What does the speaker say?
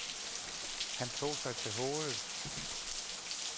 Han tog sig til hovedet.